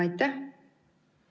Ma tänan!